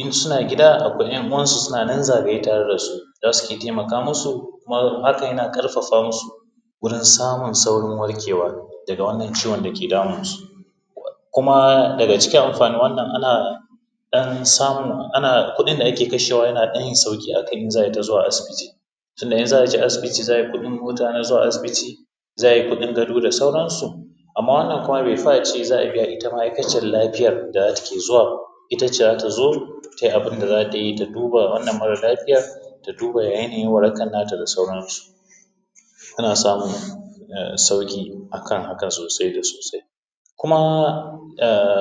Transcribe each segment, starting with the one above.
in suna gida akwai ‘yan uwansu suna nan zagaye da su za su taimaka musu kuma haka yana ƙarfafa musu wurin samun saurin warkewa daga wannan ciwon dake damunsu kuma daga cikin amfanin wannan kuma ana dan samun kuɗin da ake kashewa yana sauƙi akan in za ai ta zuwa asibiti tunda in za a je asibiti za ai kuɗin mota na zuwa asibiti, za a yi kuɗin gado da sauarnsu. Amma wannan bai fi a ce za a biya ita ma’aikaciyar lafiyar da take zuwa ita ce za ta zo tai abun da za ta yi ta duba wannan mara lafiyan ta duba ya yanayin warakan nata da sauarnsu, ana samun sauƙi akan haka sosai da sosai kuma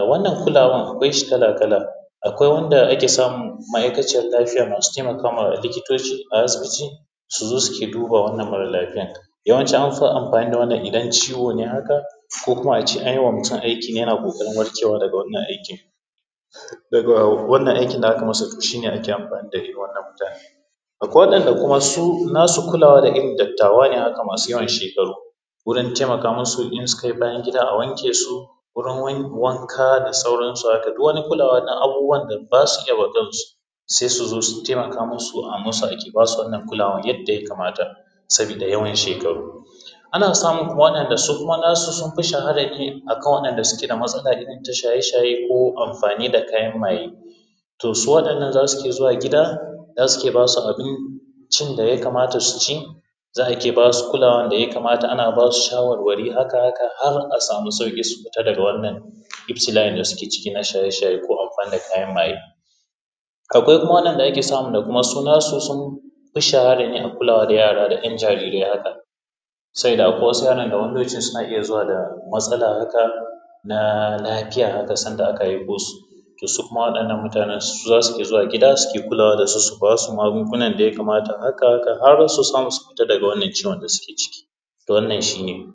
wannan kulawar akwai shi kala-kala. Akwai wanda ake samun ma’aikaciyar lafiyar masu taimakawa likitoci a asibiti su zo su duba wannan mara lafiyan yawanci amfi amfani da wannan idan ciwo ne haka ko kuma a ce an yi wamutum aiki yana ƙoƙarin warkewa daga wannan aikin, wannan aikin da aka masa shi ne ake amfani da irin wannan mutanen. Akwai waɗanda kuma su nasu kulawar ga irin dattawa ne haka masu yawan shekaru wurin taimaka musu in sukai bayan gida a wanke musu wurin wanka da sauransu haka duk wani kulawa na abubuwan da ba sa iya ma kansu sai su zo su taiamaka musu subasu wannan kulawar yadda saboda yawan shekaru ana samun kuma waɗanda su kuma nasu sun fi shahara ne akan waɗanda suke da matsala irin ta shaye-shaye ko amfani da kayan maye. To, su waɗannan za su rinƙa zuwa gida za su riƙa ba su abincin da ya kamata su ci za a rinƙa kulawa a rinƙa ba su shawarwari., ahaka-ahaka har a samu sauƙi su fita daga wannan ibtila’in da suke ciki na shaye ko amfani da kayan maye. Akwai kuma waɗanda ake samu da sola su sun fi shahara ne a wuraren da yara da jarirai haka saboda akwai wasu suna iya zuwa da matsala haka na lafiya haka sanda aka haife su to su kuma waɗannan mutanen su za su zuwa gida suna kulawa da su, su ba su magungunan da ya kamata ahaka-ahaka har su samu su fita daga wannan ciwon da suke ciki to wannan shi ne.